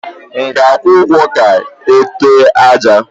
M ga ajwu ụgwọ ka e ute àjà?